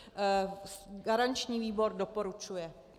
Garanční výbor doporučuje.